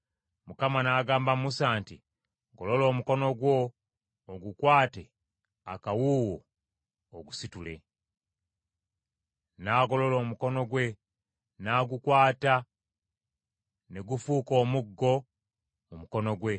Mukama n’agamba Musa nti, “Golola omukono gwo ogukwate akawuuwo ogusitule.” N’agolola omukono gwe n’agukwata, ne gufuuka omuggo mu mukono gwe.